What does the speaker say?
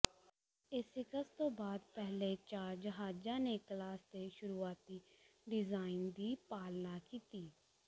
Essex ਤੋਂ ਬਾਅਦ ਪਹਿਲੇ ਚਾਰ ਜਹਾਜ਼ਾਂ ਨੇ ਕਲਾਸ ਦੇ ਸ਼ੁਰੂਆਤੀ ਡਿਜ਼ਾਇਨ ਦੀ ਪਾਲਣਾ ਕੀਤੀ